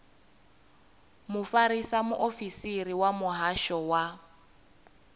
mufarisa muofisiri wa muhasho wa